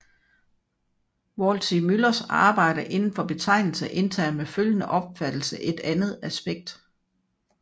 Waldseemüllers arbejde inden for betegnelse indtager med følgende opfattelse et andet aspekt